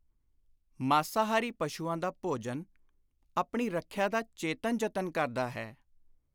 ਮਾਸਾਹਾਰੀ ਪਸ਼ੂਆਂ ਦਾ ਭੋਜਨ ਆਪਣੀ ਰੱਖਿਆ ਦਾ ਚੇਤਨ ਯਤਨ ਕਰਦਾ ਹੈ।